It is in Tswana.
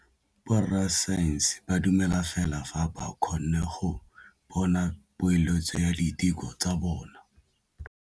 Borra saense ba dumela fela fa ba kgonne go bona poeletsô ya diteko tsa bone.